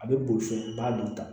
A bɛ boli fɛn i b'a dun ta